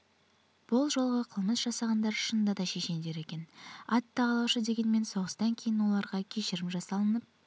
бұл жолғы қылмыс жасағандар шынында да шешендер екен ат тағалаушы дегенмен соғыстан кейін оларға кешірім жасалынып